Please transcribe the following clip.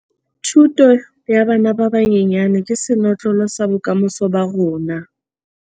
Thuto ya bana ba banyenyane ke senotlolo sa bokamoso ba rona